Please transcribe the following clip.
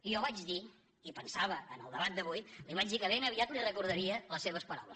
i jo vaig dir i pensava en el debat d’avui li vaig dir que ben aviat li recordaria les seves paraules